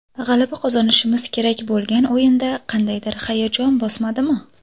G‘alaba qozonishimiz kerak bo‘lgan o‘yinda qandaydir hayajon bosmadimi?